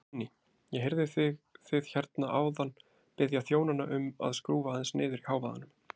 Guðný: Ég heyrði þið hérna áðan biðja þjónana um að skrúfa aðeins niður í hávaðanum?